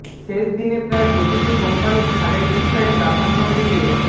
শেষ দিনে প্রায় প্রতিটি কোম্পানি ছাড়ের বিষয়ে প্রাধান্য দিয়ে